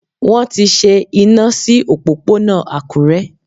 Wón ti ṣe iná sí òpópónà Àkúré.